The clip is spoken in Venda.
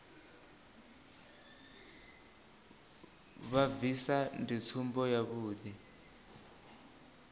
vha bvisa ndi tsumbo yavhuḓi